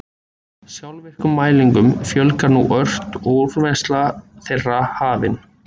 Sjálfvirkum mælingum fjölgar nú ört og er úrvinnsla þeirra hafin.